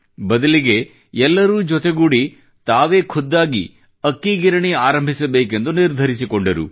ಬದಲಿಗೆ ಎಲ್ಲರೂ ಜತೆಗೂಡಿ ತಾವೇ ಖುದ್ದಾಗಿ ಅಕ್ಕಿ ಗಿರಣಿ ಆರಂಭಿಸಬೇಕೆಂದು ನಿರ್ಧರಿಸಿಕೊಂಡರು